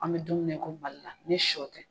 An bɛ don min na i ko balila ni sɔ tɛ